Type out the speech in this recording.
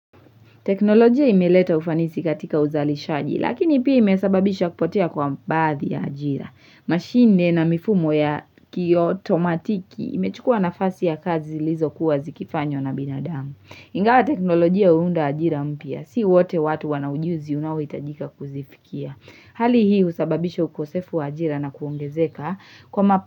Teknolojia imeleta ufanisi katika uzali shaji, lakini pia imesababisha kupotea kwa baadhi ya ajira. Mashine na mifumo ya kiyo tomatiki imechukua na fasi ya kazi zilizo kuwa zikifanywa na binadamu. Ingawa teknolojia huunda ajira mpya si wote watu wana ujuzi unaohitajika kuzifikia. Hali hii husababisha ukosefu wa ajira na kuongezeka kwa mapa.